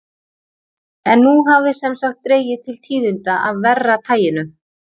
En nú hafði sem sagt dregið til tíðinda af verra taginu.